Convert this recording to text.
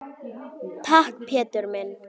Takk, Pétur minn.